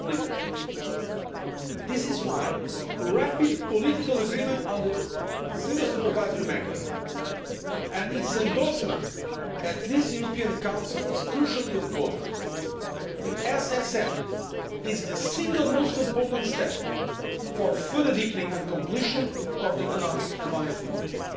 That is why rapid political agreement on the Single Supervisory Mechanism, and its endorsement at this European Council, is crucially important. The SSM is the single most important step for the further deepening and completion of Economic and Monetary Union.